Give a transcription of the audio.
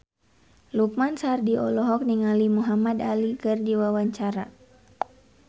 Lukman Sardi olohok ningali Muhamad Ali keur diwawancara